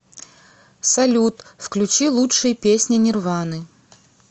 салют включи лучшие песни нирваны